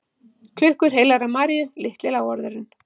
Klukkur heilagrar Maríu, Litli lávarðurinn